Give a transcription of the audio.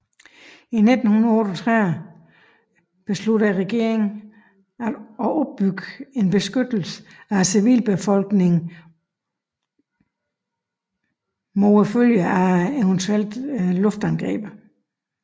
I 1938 besluttede regeringen at opbygge en beskyttelse af civilbefolkningen mod følgerne af eventuelt luftangreb